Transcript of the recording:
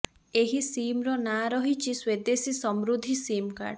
ଏହି ସିମର ନାଁ ରହିଛି ସ୍ୱଦେଶୀ ସମୃଦ୍ଧି ସିମ୍ କାର୍ଡ